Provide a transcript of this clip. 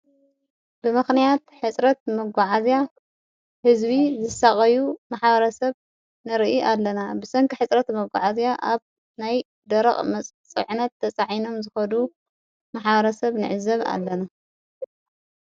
ብምኽንያት ሕጽረት መጐዓእዝያ ሕዝቢ ዘሳቐዩ መሓዋረ ሰብ ንርኢ ኣለና። ብሰንኪ ኅጽረት መጕዓእዚያ ኣብ ናይ ደረቕ መጽዕነት ተጻዒኖም ዝኸዱ መሓዋረ ሰብ ንዕዘብ ኣለና።